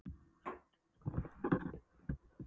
Hún skrifar heim: Ég skoðaði borgina og söfnin í Amsterdam.